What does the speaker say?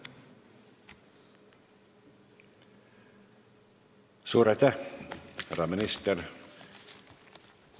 Suur aitäh, härra minister!